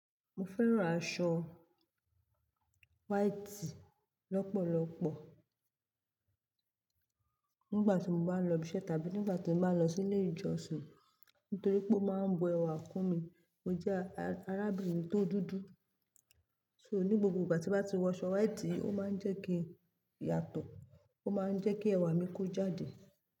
Mo fẹ́ràn aṣọ white lọ́pọ̀lọ́pọ̀. Nígbà tí mo bá ń lọ ibi iṣẹ́ tàbí nígbà tí mo bá ń lọ sí ilé ìjọsìn. Nítorí pé ó máa ń bo ẹwà kún mi. Mo jẹ́ arábìnrin tó dúdú. So ní gbogbo ìgbà tí mo bá ti wọ aṣọ white, ó máa ń jẹ́ kí yàtọ̀, ó máa ń jẹ́ kí ẹwà mi kó jáde.